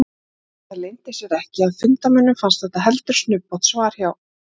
Það leyndi sér ekki að fundarmönnum fannst þetta heldur snubbótt svar hjá